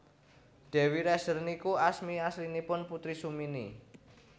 Dewi Rezer niku asmi aslinipun Putri Sumini